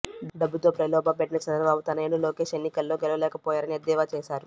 డబ్బుతో ప్రలోభ పెట్టిన చంద్రబాబు తనయుడు లోకేశ్ ఎన్నికల్లో గెలవలేకపోయారని ఎద్దేవా చేశారు